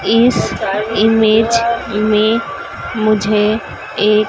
इस इमेज में मुझे एक--